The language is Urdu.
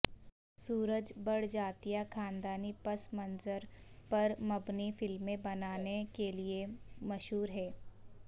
سورج بڑجاتیہ خاندانی پس منظر پرمبنی فلمیں بنانےکیلئےمشہور ہیں